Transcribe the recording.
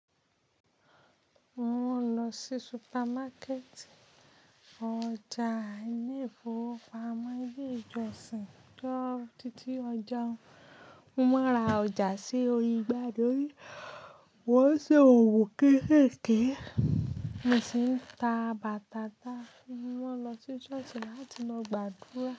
Mò ń lọ sí supermarket, ọjà àìní efo, pamọ́ ilé ìjọsìn tó títí ọjà. Mo máa ra ọjà sí ori ìgbàdorí. Wọ́n ṣe òwo kéékèèké. Mo sì ń ta bàtà ná. Mo lọ sí ṣọ́ọ̀ṣì láti lọ gbàdúrà.